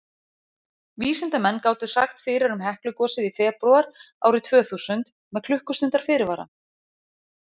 vísindamenn gátu sagt fyrir um heklugosið í febrúar árið tvö þúsund með klukkustundar fyrirvara